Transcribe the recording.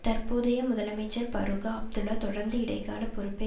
தற்போதைய முதலமைச்சர் பரூக அப்துல்லா தொடர்ந்து இடைக்கால பொறுப்பை